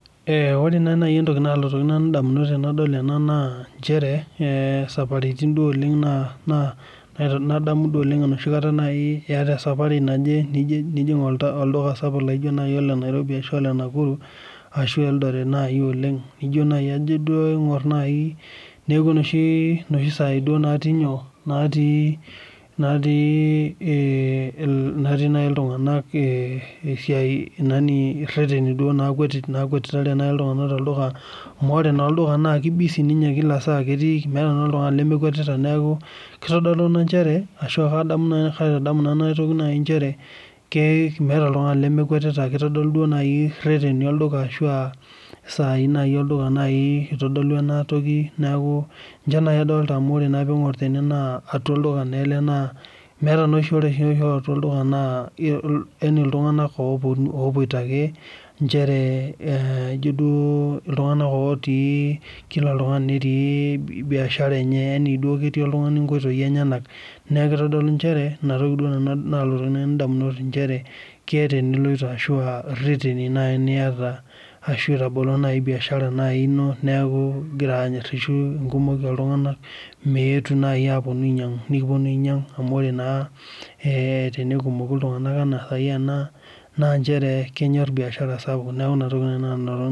Ore naa naai entoki naalotoki nanu indamunot enadol ena naa nchere, saparitin duo oleng' nadamu duo oleng enoshi kata naai iata esapari naje, nijing' olduka sapuk laijo naai ole Nairobi ashu Ole Nakuru ashu Eldoret naai oleng nijo naai ajo aing'orr naai neeku enoshi saai duo natii nyoo, naatii naai iltung'anak esiai irreteni naikwetitare duo, nakwetitareki iltung'anak tolduka amu ore naa olduka naaki busy ninye kila saa ketii, meeta naa oltung'ani lemekwetita neeku kitodolu ina nchere ashu akaitadamu naai ena toki nchere meeta oltung'ani lemekwetita. Kitodolu naai irreteni olduka ashu aa isaai naai olduka naai itodolu enatoki neeku ninche naai adolita amu ore eniing'urr tene naa atwa olduka naa ele naa ore naa oshi atwa olduka naa iltung'anak opwoita ake nchere ijo duo iltung'anak otii kila oltung'ani netii biashara enye yani duo ketii oltung'ani inkoitoi enyenak. Naa kitodolu nchere, ina toki nanu naalotoki indamunot nchere keeta iniloito ashu erreten naai iyata ashu itabolo biashara naai ino neeku igira aing'irtitu enkumoi oltung'anak meetu naai apwonu ainyang', nekipwonu ainyang' amu ore naa tenekumoki iltung'anak enaa saai ena naa nchere enyorr biashara sapuk neeku ina toki naai nanu